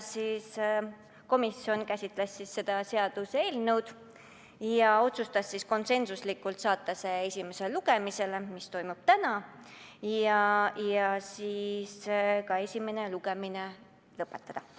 Komisjon käsitles seda seaduseelnõu ja otsustas konsensuslikult saata see esimesele lugemisele, mis toimub täna, ja esimese lugemise lõpetada.